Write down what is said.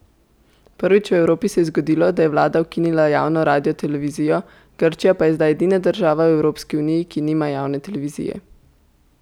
Prvič v Evropi se je zgodilo, da je vlada ukinila javno radiotelevizijo, Grčija pa je zdaj edina država v Evropski uniji, ki nima javne televizije.